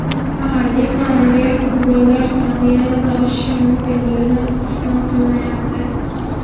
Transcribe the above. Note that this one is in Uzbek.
Mahalliy ma’muriyat qurbonlar soni yanada oshishi mumkinligini istisno qilmayapti.